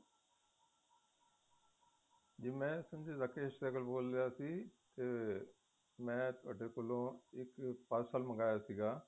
ਜ਼ੀ ਮੈ ਰਾਕੇਸ ਸਹਿਗੱਲ ਬੋਲ ਰਿਹਾ ਸੀ ਇੱਕ ਮੈ ਤੁਹਾਡੇ ਕੋਲੋ ਇੱਕ ਪਾਰ੍ਸ਼ਾਲ ਮੰਗਿਆ ਸੀਗਾ